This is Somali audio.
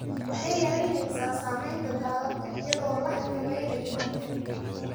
Waxay yaraynaysaa saamaynta daadadka iyadoo la xakameynayo biyaha.